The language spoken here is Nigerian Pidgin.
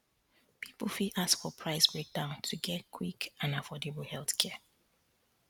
people fit ask for price breakdown to get quick and affordable healthcare